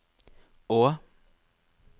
å